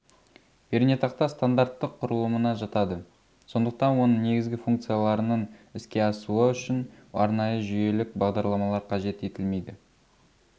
пернетақта стандартты құрылымына жатады сондықтан оның негізгі функцияларының іске асуы үшін арнайы жүйелік бағдарламалар қажет етілмейді